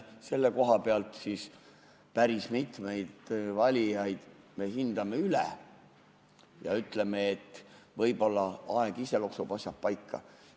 Selle koha pealt me päris mitmeid valijaid hindame üle ja ütleme, et võib-olla aeg ise loksutab asjad paika.